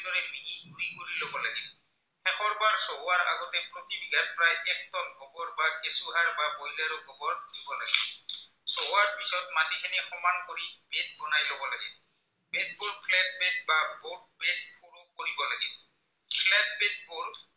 peep holes